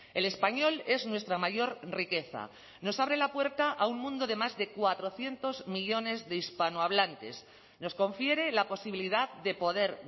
el español es nuestra mayor riqueza nos abre la puerta a un mundo de más de cuatrocientos millónes de hispanohablantes nos confiere la posibilidad de poder